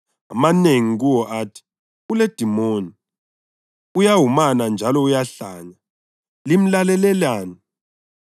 Amanengi kuwo athi, “Uledimoni, uyawumana njalo uyahlanya. Limlalelelani?”